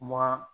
Wa